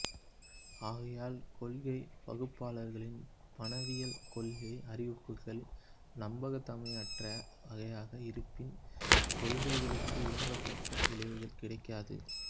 ஆகையால் கொள்கை வகுப்பாளர்களின் பணவியல் கொள்கை அறிவிப்புகள் நம்பகத்தன்மையற்றவையாக இருப்பின் கொள்கைக்கு விரும்பத்தக்க விளைவுகள் கிடைக்காது